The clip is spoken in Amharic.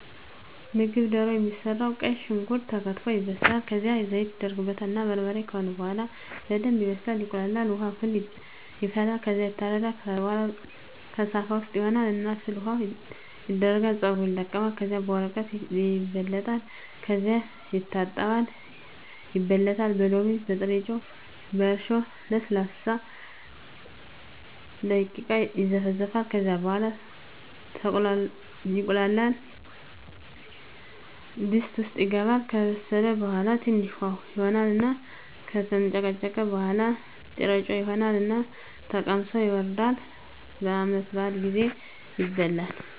ምግብ ደሮ የሚሰራዉ ቀይ ሽንኩርት ተከትፎ ይበስላል ከዝያም ዘይት ይደረግበታል እና በርበሬ ከሆነ በሆላ በደንብ ይበስላል ይቁላላል። ዉሀ ፍል ይፈላል ከዝያ ይታረዳል። ከታረደ በሆላ ከሳፋ ዉስጥ ይሆን እና ፍል ዉሀዉ ይደረጋል ፀጉሩ ይለቀማል ከዚያ በወረቀት ይለበለጣል ከዚያ ይታጠባል ይበለታል በሎሚ፣ በጥሮጮ፣ በእርሾ ለሰላሳ ደቂቃ ይዘፈዘፋል ከዚያ ወደ ተቁላላዉ ድስት ዉስጥ ይገባል። ከበሰለ በሆላ ትንሽ ዉሀ ይሆን እና ከተንጨቀጨቀ በሆላ ጥሮጮ ይሆን እና ተቀምሶ ይወርዳል። በዓመት በአል ጊዜ ይበላል።